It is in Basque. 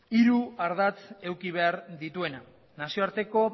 hiru ardatz eduki behar dituena nazioarteko